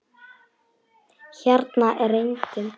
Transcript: Hérna er enginn.